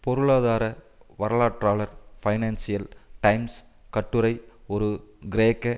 பொருளாதார வரலாற்றாளர் Financial Times கட்டுரை ஒரு கிரேக்க